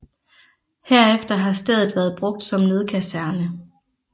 Herefter har stedet været brugt som nødkaserne